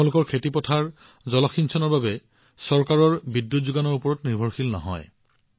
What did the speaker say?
তেওঁলোক আনকি পথাৰত জলসিঞ্চনৰ বাবে চৰকাৰৰ বিদ্যুৎ যোগানৰ ওপৰতো নিৰ্ভৰশীল নহয়